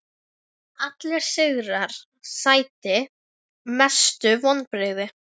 Allir sigrar sætir Mestu vonbrigði?